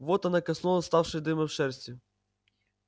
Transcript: вот она коснулась вставшей дыбом шерсти